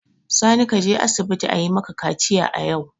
Sani, ka je asibiti ayi maka kaciya yau!